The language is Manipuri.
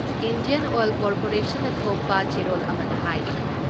ꯏꯟꯗꯤꯌꯟ ꯑꯣꯏꯜ ꯀꯣꯔꯄꯣꯔꯦꯁꯟꯅ ꯊꯣꯛꯄ ꯆꯦꯔꯣꯜ ꯑꯃꯗ ꯍꯥꯏ